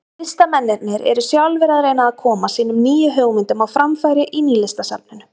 Listamennirnir eru sjálfir að reyna að koma sínum nýju hugmyndum á framfæri í Nýlistasafninu.